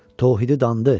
Tövhidi dandı.